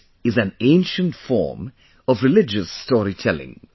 This is an ancient form of religious storytelling